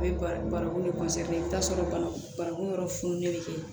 O ye barakun de i bɛ t'a sɔrɔ banagun wɛrɛ fununen bɛ kɛ